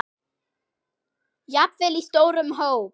Jafnvel í stórum hópum?